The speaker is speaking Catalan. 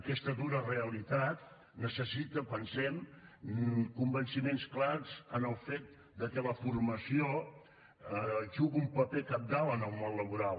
aquesta dura realitat necessita pensem convenciments clars en el fet que la formació juga un paper cabdal en el món laboral